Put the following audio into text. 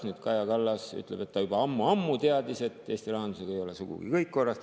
Nüüd Kaja Kallas ütleb, et ta juba ammu-ammu teadis, et Eesti rahandusega ei ole sugugi kõik korras.